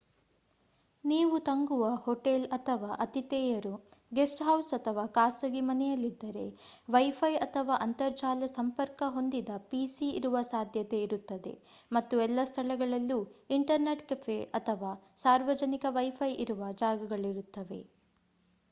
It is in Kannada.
ನೀವು ತಂಗುವ ಹೊಟೇಲ್ ಅಥವಾ ಅತಿಥೇಯರು ಗೆಸ್ಟ್ ಹೌಸ್ ಅಥವಾ ಖಾಸಗಿ ಮನೆಯಲ್ಲಿದ್ದರೆ ವೈಫೈ ಅಥವಾ ಅಂತರ್ಜಾಲ ಸಂಪರ್ಕ ಹೊಂದಿದ ಪಿಸಿ ಇರುವ ಸಾಧ್ಯತೆ ಇರುತ್ತದೆ ಮತ್ತು ಎಲ್ಲ ಸ್ಥಳಗಳಲ್ಲೂ ಇಂಟರ್ನೆಟ್ ಕೆಫೆ ಅಥವಾ ಸಾರ್ವಜನಿಕ ವೈಫೈ ಇರುವ ಜಾಗಗಳಿರುತ್ತವೆ